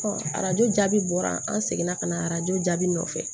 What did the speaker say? arajo jaabi bɔra an seginna ka na arajo jaabi nɔfɛ